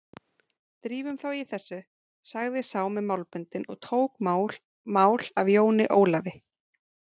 Drífum þá í þessu, sagði sá með málböndin og tók mál af Jóni Ólafi.